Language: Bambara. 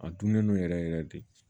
A dunnen don yɛrɛ yɛrɛ de